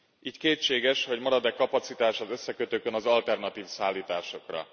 Így kétséges, hogy marad e kapacitás az összekötőkön az alternatív szállításokra.